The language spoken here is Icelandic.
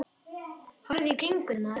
Horfðu í kringum þig, maður.